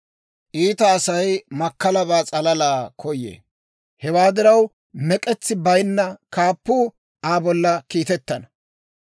Iita Asay makkalabaa s'alala koyee; hewaa diraw, mek'etsi bayinna kaappuu Aa bolla kiitettana.